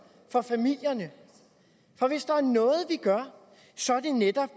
for familierne for hvis der er noget vi gør så er det netop